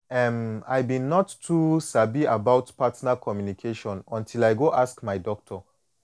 em i been not too sabi about partner communication until i go ask my doctor